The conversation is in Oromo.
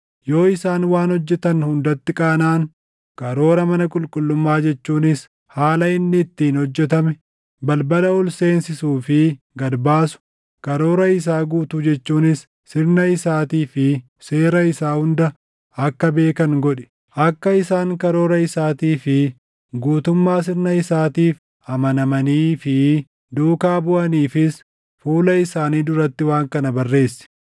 yoo isaan waan hojjetan hundatti qaanaʼan, karoora mana qulqullummaa jechuunis haala inni ittiin hojjetame, balbala ol seensisuu fi gad baasu, karoora isaa guutuu jechuunis sirna isaatii fi seera isaa hunda akka beekan godhi. Akka isaan karoora isaatii fi guutummaa sirna isaatiif amanamanii fi duukaa buʼaniifis fuula isaanii duratti waan kana barreessi.